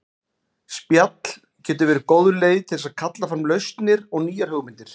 Spjall getur verið góð leið til þess að kalla fram lausnir og nýjar hugmyndir.